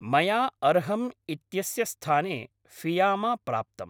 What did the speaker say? मया अर्हम् इत्यस्य स्थाने फियामा प्राप्तम्।